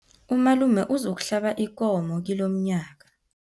Umalume uzokuhlaba ikomo kilomnyanya.